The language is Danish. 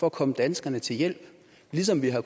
at komme danskerne til hjælp ligesom vi har